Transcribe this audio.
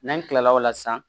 N'an kilala o la san